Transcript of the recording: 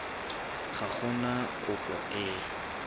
ga go na kopo e